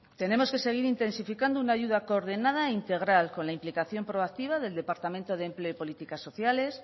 tenemos que seguir intensificando una ayuda coordinada e integral con la implicación proactiva del departamento de empleo y políticas sociales